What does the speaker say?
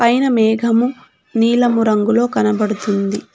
పైన మేఘము నీలము రంగులో కనబడుతుంది.